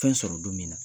Fɛn sɔrɔ don min na